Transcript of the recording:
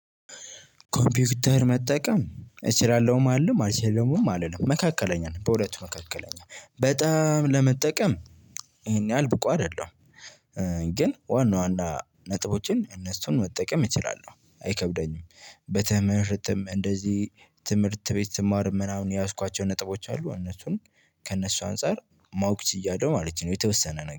ኮምፒውተር መጠቀም እችላለሁም አልልም አልችልምም አልልም መካከለኛ ነው በሁለቱ መካከለኛ በጣም ለመጠቀም ይሄን ያህል ብቁ አይደለሁም። ግን ዋና ዋና ነጥቦችን እነሱን መጠቀም እችላለሁ አይከብደኝም። በትምህርትም እንደዚህ ትምህርት ቤት ስማርም ምናምን የያዝኳቸው ነጥቦች አሉ እነሱን ከእነሱ አንፃር ማወቅ ችያለው ማለት ነው። የተወሰነ ነገር